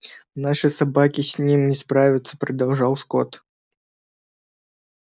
наши собаки с ним не справятся продолжал скотт